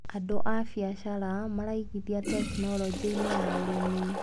Andũ a mbiacara maraigithia tekinologĩinĩ ya ũrĩmi.